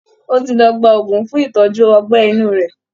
Ó ti lọ gba òògùn fún ìtọ́jú ọgbẹ́ inú rẹ̀